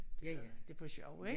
Ja ja det for sjov ik